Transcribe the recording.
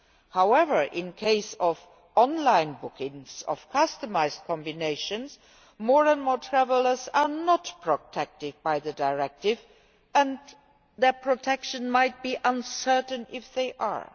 However, with online bookings of customised combinations, more and more travellers are not protected by the directive, and their protection might be uncertain even if they are.